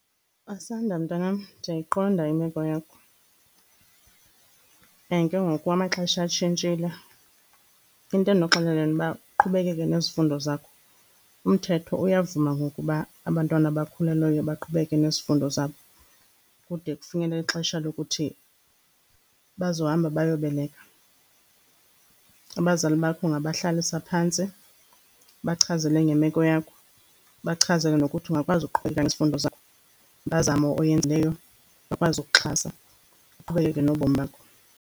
Asanda, mntanam, ndiyayiqonda imeko yakho and ke ngoku amaxesha atshintshile. Into endokuxelela yona uba uqhubekeke nezifundo zakho, umthetho uyavuma ngoku uba abantwana abakhulelweyo baqhubeke nezifundo zabo kude kufikelele ixesha lokuthi bazohamba bayobeleka. Abazali bakho ungabahlalisa phantsi, ubachazele ngemeko yakho, ubachazele nokuthi ungakwazi ukuqhubeleka ngezifundo zakho. Impazamo oyenzileyo bakwazi ukuxhasa uqhubekeke nobomi bakho.